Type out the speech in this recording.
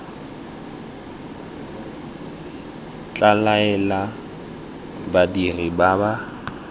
tla laela badiri ba ba